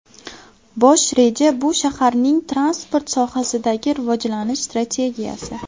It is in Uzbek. Bosh reja bu shaharning transport sohasidagi rivojlanish strategiyasi.